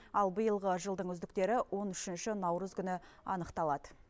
ал биылғы жылдың үздіктері он үшінші наурыз күні анықталады